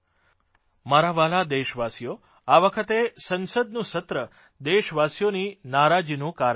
મારા વ્હાલા દેશવાસીઓ આ વખતે સંસદનું સત્ર દેશવાસીઓની નારાજીનું કારણ બન્યુ